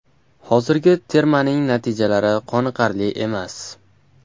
Hozirgi termaning natijalari qoniqarli emas.